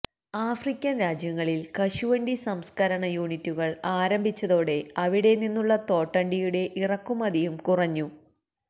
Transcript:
African രാജ്യങ്ങളിൽ കശുവണ്ടി സംസ്കരണ യൂണിറ്റുകൾ ആരംഭിച്ചതോടെ അവിടെ നിന്നുള്ള തോട്ടണ്ടിയുടെ ഇറക്കുമതിയും കുറഞ്ഞു